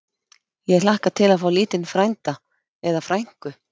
Ég hlakka til að fá lítinn frænda. eða frænku!